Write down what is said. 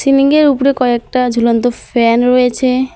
সিলিংয়ের উপরে কয়েকটা ঝুলন্ত ফ্যান রয়েছে।